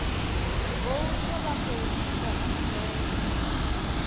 voutha vha khou ita khumbelo